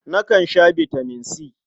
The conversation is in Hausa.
Nakan sha bitaman C.